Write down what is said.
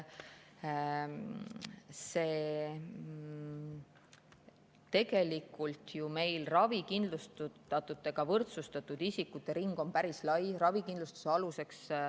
Tegelikult on meil ravikindlustatutega võrdsustatud isikute ring ju päris lai.